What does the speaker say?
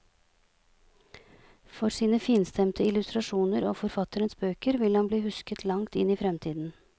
For sine finstemte illustrasjoner av forfatteres bøker vil han bli husket langt inn i fremtiden.